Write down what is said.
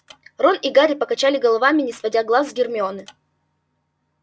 рон и гарри покачали головами не сводя глаз с гермионы